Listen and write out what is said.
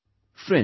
Friends